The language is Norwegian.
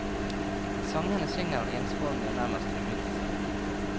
I sangene synger han ensformig og nærmest uinteressert.